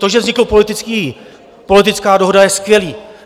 To, že vznikla politická dohoda, je skvělé.